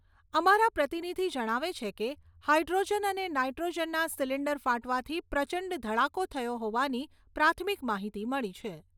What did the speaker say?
અમારા પ્રતિનિધિ જણાવે છે કે હાઇડ્રોજન અને નાઇટ્રોજનના સિલિન્ડર ફાટવાથી પ્રચંડ ધડાકો થયો હોવાની પ્રાથમિક માહિતી મળી છે.